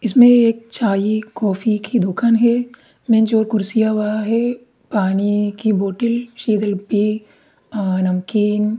इसमें एक चाय कॉफ़ी की दुकान है मेज और कुर्सियां वहाँ है पानी की बोटेल अ नमकीन --